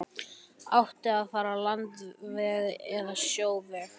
Átti að fara landveg eða sjóveg?